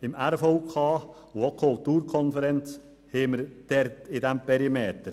Die RVK und auch die Kulturkonferenz befinden sich in diesem Perimeter.